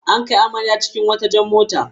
An kai amarya cikin wata jar mota.